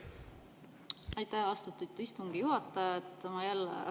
Aitäh, austatud istungi juhataja!